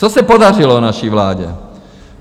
Co se podařilo naší vládě?